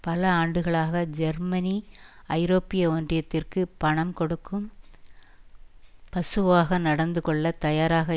பல ஆண்டுகளாக ஜெர்மனி ஐரோப்பிய ஒன்றியத்திற்கு பணம் கொடுக்கும் பசுவாக நடந்து கொள்ள தயாராக